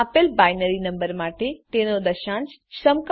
આપેલ binary number માટે તેનો દશાંશ સમકક્ષ શોધો